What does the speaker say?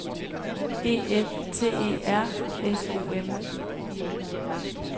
E F T E R S O M